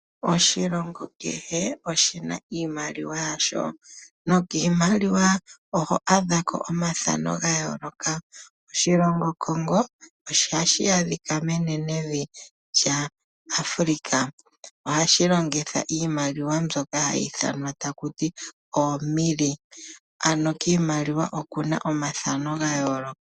Oshilongo kehe oshi na iimaliwa yasho nokiimaliwa oho adha ko omathano ga yooloka. Oshilongo Congo hashi adhika menenevi lyAfrika. Ohashi longitha iimaliwa mbyoka hayi ithananwa taku ti oomilli , ano kiimaliwa oku na omathano ga yooloka.